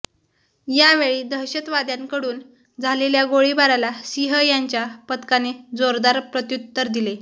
यावेळी दहशतवाद्यांकडून झालेल्या गोळीबाराला सिंह यांच्या पथकाने जोरदार प्रत्यूत्तर दिले